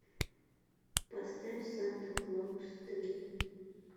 поставь санта клаус три